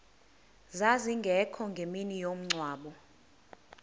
zazingekho ngemini yomngcwabo